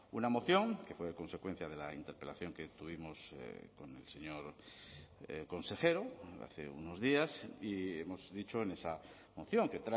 una moción que fue consecuencia de la interpelación que tuvimos con el señor consejero hace unos días y hemos dicho en esa moción que